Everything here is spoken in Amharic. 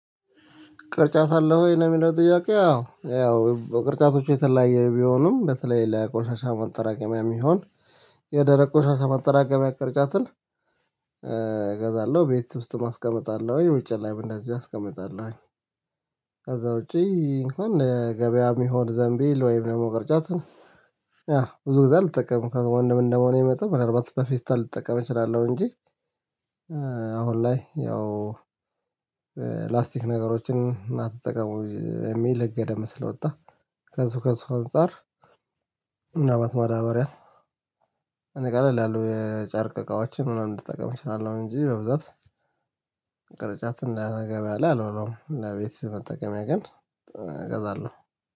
ቅርጫት አለህ ወይ? ነው የሚለው ጥያቄው አዎ ያው ቅርጫቶቹ የተለያየ ቢሆኑም በተለይ ለቆሻሻ መጠራቀሚያ የሚሆን የደረቅ ቆሻሻ ማጠራቀሚያ ቅርጫትን። እገዛለሁ ቤት ውስጥም አስቀምጣለሁኝ ውጭ ላይም እንደዚህ አስቀመጣለሁኝ። ከዛ ውጪ እንኳን ገበያ ሚሆን ዘንቢል ወይም ደግሞ ቅርጫት ነው። ያ ብዙ ጊዜ አልጠቀምም ወንድም እንደመሆኔ መጠን ምንአልባት በፌስታል ልጠቀም እችላለሁ እንጂ። አሁን ላይ ያው ላስቲክ ነገሮችን አትጠቀሙ የሚል ህገ ደምብ ስለወጣ ከሱ ከሱ አንፃር። ምናልባት ማዳበሪያ እኔ ቀለል ያሉ የጨርቅ እቃዎችን ምናምን ልጠቀም እችላለሁ እንጂ በብዛት። እንዳልገባ አለ አልሆነም ለቤት ስትጠቀሚያ ግን እገዛለሁ